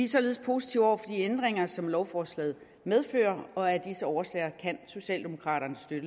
således positive over for de ændringer som lovforslaget medfører og af disse årsager kan socialdemokraterne støtte